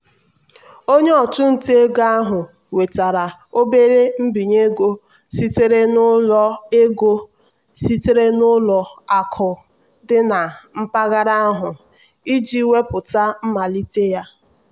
onye ọchụnta ego ahụ nwetara obere mbinye ego sitere n'ụlọ ego sitere n'ụlọ akụ dị na mpaghara ahụ iji wepụta mmalite ya.